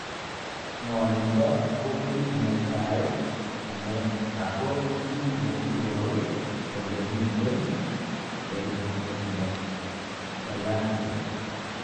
Ngonindo ko kit netai ne ako ki ne iporu kole miten Erythromelalgia.